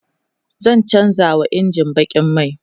zan chanza wa injin bakin mai